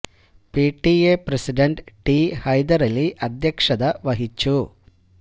P T A president T Haidar Ali അധ്യക്ഷത വഹിച്ചു